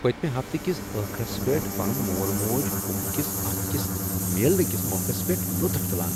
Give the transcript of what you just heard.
پٔتمہ ہفتہٕ کس ٲخرس پٮ۪ٹھ پنُن مول موج كُمبہٕ كِس اكھ اكِس میلنہٕ کس موقس پیٹھ لُطف تُلان